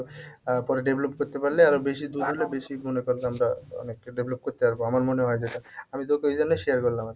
পরে develop করতে পারলে আরও বেশি দুধ হলে বেশি মনে কর আমরা অনেকটা develop করতে পারবো আমার মনে হয় যেটা আমি তোকে ওই জন্য share করলাম।